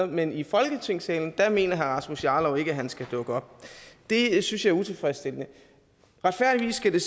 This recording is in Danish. men i folketingssalen mener rasmus jarlov ikke han skal dukke op det synes jeg er utilfredsstillende retfærdigvis skal